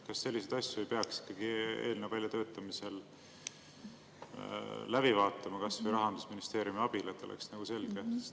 Kas selliseid asju ei peaks ikkagi eelnõu väljatöötamisel läbi vaatama kas või Rahandusministeeriumi abil, et oleks nagu selge?